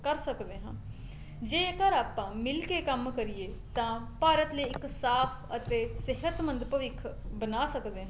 ਕਰ ਸਕਦੇ ਹਾਂ ਜੇਕਰ ਆਪਾਂ ਮਿਲਕੇ ਕੰਮ ਕਰੀਏ ਤਾਂ ਭਾਰਤ ਲਈ ਇੱਕ ਸਾਫ ਅਤੇ ਸਿਹਤਮੰਦ ਭਵਿੱਖ ਬਣਾ ਸਕਦੇ ਹਾਂ